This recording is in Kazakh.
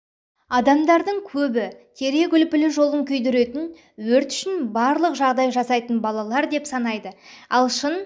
адамдардың көбі терек үлпілі жолын күйдіретін өрт үшін барлық жағдай жасайтын балалар деп санайды ал шын